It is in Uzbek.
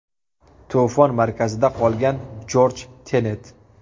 To‘fon markazida qolgan Jorj Tenet.